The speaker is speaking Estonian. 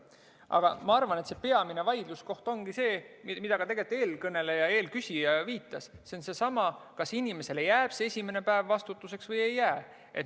Aga ma arvan, et peamine vaidluskoht ongi see, millele ka eelküsija viitas: kas inimesele jääb see esimene päev omavastutuseks või ei jää.